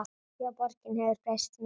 Já, borgin hefur breyst mikið.